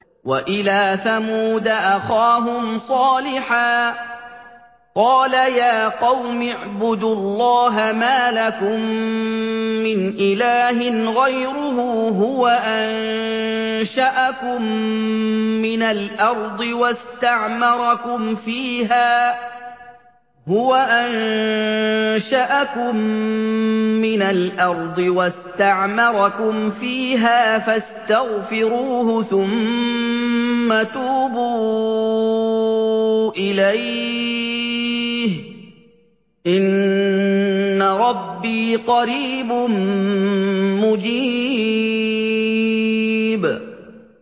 ۞ وَإِلَىٰ ثَمُودَ أَخَاهُمْ صَالِحًا ۚ قَالَ يَا قَوْمِ اعْبُدُوا اللَّهَ مَا لَكُم مِّنْ إِلَٰهٍ غَيْرُهُ ۖ هُوَ أَنشَأَكُم مِّنَ الْأَرْضِ وَاسْتَعْمَرَكُمْ فِيهَا فَاسْتَغْفِرُوهُ ثُمَّ تُوبُوا إِلَيْهِ ۚ إِنَّ رَبِّي قَرِيبٌ مُّجِيبٌ